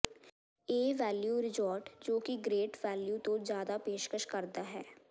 ਏ value resort ਜੋ ਕਿ great value ਤੋਂ ਜ਼ਿਆਦਾ ਪੇਸ਼ਕਸ਼ ਕਰਦਾ ਹੈ